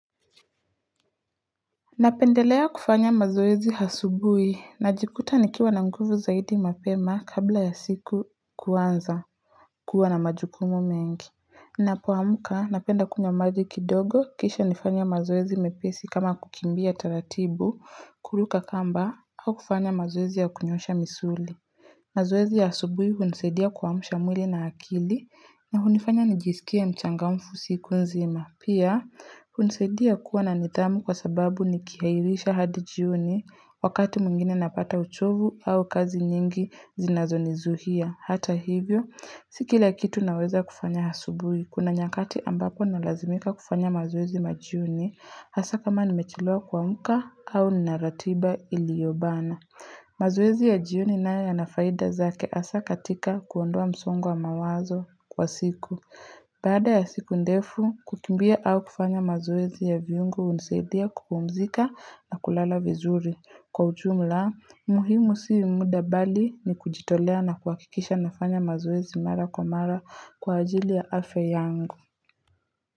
Napendelea kufanya mazoezi hasubui najikuta nikiwa na nguvu zaidi mapema kabla ya siku kuanza kuwa na majukumu mengi. Napoamuka napenda kunywa maji kidogo kisha nifanye mazoezi mepesi kama kukimbia taratibu, kuruka kamba au kufanya mazoezi ya kunyosha misuli. Mazoezi ya asubuhi hunisedia kwamsha mwili na akili na hunifanya nijisikie mchangamfu siku nzima. Pia, hunisedia kuwa na nitamu kwa sababu nikihairisha hadi jioni wakati muingine napata uchovu au kazi nyingi zinazo nizuhia. Hata hivyo, sikila kitu naweza kufanya hasubuhi. Kuna nyakati ambako nalazimika kufanya mazoezi majiuni hasa kama nimechelewa kwamuka au nina ratiba iliobana. Mazoezi ya jioni na yanafaida zake asa katika kuondoa msongo wa mawazo kwa siku Baada ya siku ndefu, kukimbia au kufanya mazoezi ya viungu uniseidhia kupumzika na kulala vizuri Kwa ujumla, muhimu si muda bali ni kujitolea na kuakikisha nafanya mazoezi mara kwa mara kwa ajili ya afya yangu.